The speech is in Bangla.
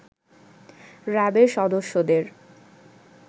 র‍্যাব-এর সদস্যদের